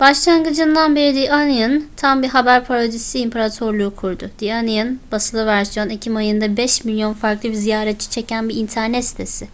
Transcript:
başlangıcından beri the onion tam bir haber parodisi imparatorluğu kurdu. the onion; basılı versiyon ekim ayında 5.000.000 farklı ziyaretçi çeken bir internet sitesi